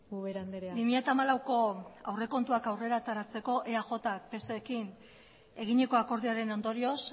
ubera andrea bi mila hamalauko aurrekontuak aurrera ateratzeko eajk pserekin eginiko akordioaren ondorioz